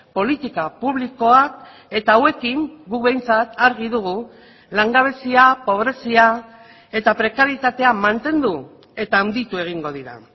politika publikoak eta hauekin guk behintzat argi dugu langabezia pobrezia eta prekarietatea mantendu eta handitu egingo dira